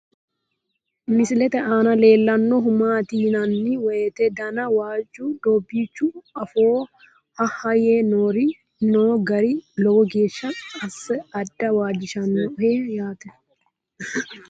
Misilette aanna leellanohu maatti yinnanni woyiitte danna waajju doobichchu afoo ha'ha yee noo gari lowo geeshsha asse adda waajjishahanoho yaatte